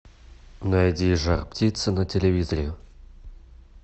найди жар птица на телевизоре